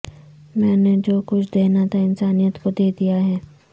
میں نے جو کچھ دینا تھا انسانیت کو دے دیا ہے